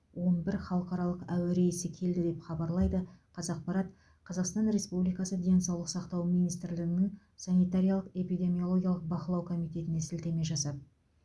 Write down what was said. он бір халықаралық әуе рейсі келді деп хабарлайды қазақпарат қазақстан республикасы денсаулық сақтау министрлігінің санитариялық эпидемиологиялық бақылау комитетіне сілтеме жасап